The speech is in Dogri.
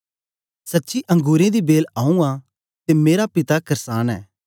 सच्ची अंगुरें दी बेल आऊँ आं ते मेरा पिता करसान ऐ